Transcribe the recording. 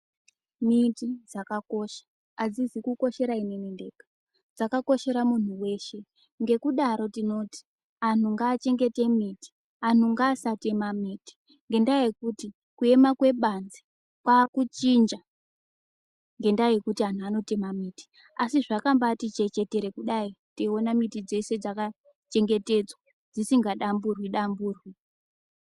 Miti dzakakosha, hadzizi kukoshera ini ndega ndega ,dzakakoshera munhu weshe ,ngekudaro tinoti anhu ngavachengete miti ,anhu ngavasatema miti ngedawa yekuti kuyama kwebanze kwaakuchinja ngedawa yekuti anhu vanotema miti. Asi zvazvati baa kuchechetera kudai tiwona miti dzeshe dzakachengetedzwa dzisinga damburwi damburwi.